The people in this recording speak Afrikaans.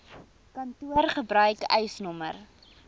kantoor gebruik eisnr